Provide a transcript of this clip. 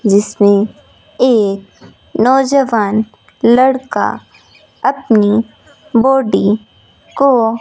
जिसमें एक नौजवान लड़का अपनी बॉडी को --